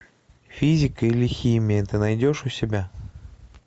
физика или химия ты найдешь у себя